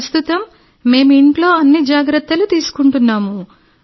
ప్రస్తుతం మేము ఇంట్లో అన్ని జాగ్రత్తలు తీసుకుంటున్నాం